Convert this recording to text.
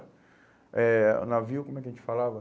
Eh, o navio, como é que a gente falava?